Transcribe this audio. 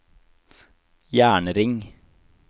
jernring